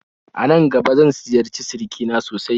Anan gaba zan ziyarci sirikina sosai